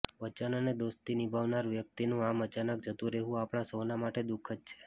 વચન અને દોસ્તી નિભાવનાર વ્યક્તિનુ આમ અચાનક જતુ રહેવુ આપણા સૌના માટે દુઃખદ છે